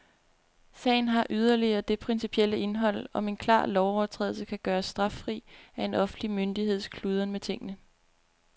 Sagen har yderligere det principielle indhold, om en klar lovovertrædelse kan gøres straffri af en offentlig myndigheds kludren med tingene.